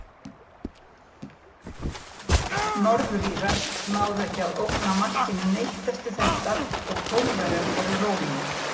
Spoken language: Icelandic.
Norður-Írar náðu ekki að ógna markinu neitt eftir þetta og Pólverjar voru rólegir.